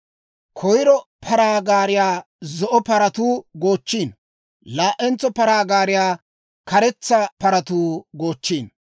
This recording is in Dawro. Koyro paraa gaariyaa zo'o paratuu goochchiino; laa"entso paraa gaariyaa karetsa paratuu goochchiino;